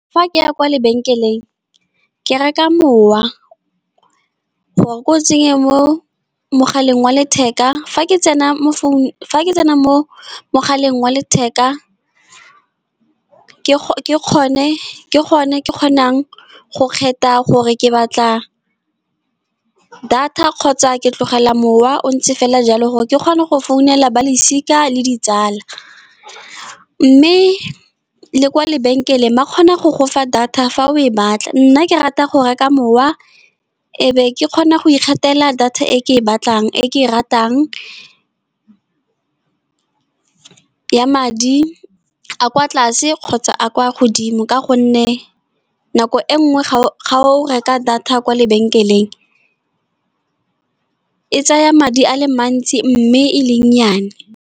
Fa ke ya kwa lebenkeleng ke reka mowa gore ko tsenye mo mogaleng wa letheka. Fa ke tsena mo mogaleng wa letheka, ke gone ke kgonang go kgetha gore ke batla data kgotsa, ke tlogela mowa o ntse fela jalo, gore ke kgone go founela balosika le ditsala. Mme le kwa lebenkeleng ba kgona go gofa data fa o e batla, nna ke rata go reka mowa ebe ke kgona go ikgethela data e ke e batlang e ke e ratang, ya madi a kwa tlase kgotsa a kwa godimo. Ka gonne nako e nngwe ga o reka data kwa lebenkeleng e tsaya madi a le mantsi mme e le nnyane.